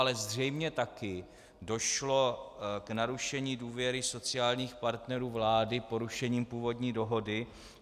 Ale zřejmě také došlo k narušení důvěry sociálních partnerů vlády porušením původní dohody.